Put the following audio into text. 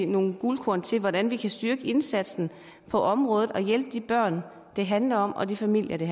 nogle guldkorn til hvordan vi kan styrke indsatsen på området og hjælpe de børn det handler om og de familier det